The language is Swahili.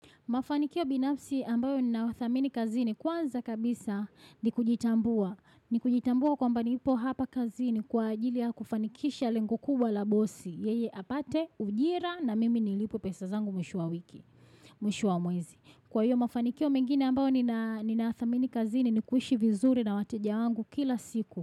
Mafanikio binafsi ambayo ni nawathamini kazini kwanza kabisa ni kujitambua. Ni kujitambua kwamba nipo hapa kazini kwa ajili ya kufanikisha lengo kubwa la bossy. Yeye apate ujira na mimi nilipwe pesa zangu mwisho wa wiki, mwisho wa mwezi. Kwa hiyo mafanikio mingine ambayo ni na thamini kazini ni kuishi vizuri na wateja wangu kila siku.